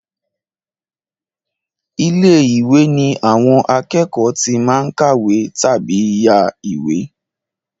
Ilé-ìwé ní àwọn akẹ́kọ̀ọ́ tí máa ń kàwé tàbí yá ìwé.